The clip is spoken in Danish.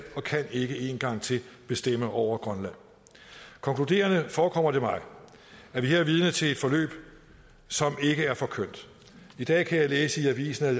og kan ikke én gang til bestemme over grønland konkluderende forekommer det mig at vi her er vidne til et forløb som ikke er for kønt i dag kan jeg læse i avisen at